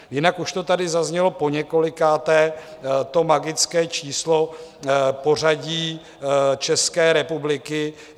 Jinak už to tady zaznělo poněkolikáté, to magické číslo pořadí České republiky.